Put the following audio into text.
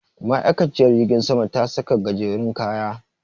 Ma'aikaciyar jirgin sama ta saka gajerun kaya.